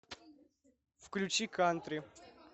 включи кантри